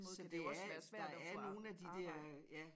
Så det er der er nogen af de dér ja